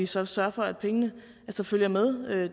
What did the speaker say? så sørger for at pengene følger med